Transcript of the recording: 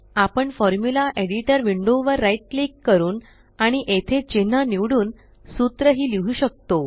आपण formula editor window वर right click करून आणि येथे चिन्ह निवडून सूत्र ही लिहु शकतो